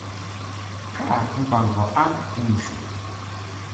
Kaa mpango aang emusho?